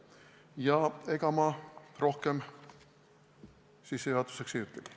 Ja ega ma rohkem sissejuhatuseks ei ütlegi.